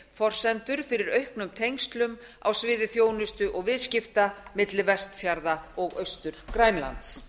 forsendur fyrir auknum tengslum á sviði þjónustu og viðskipta milli vestfjarða og austur grænlands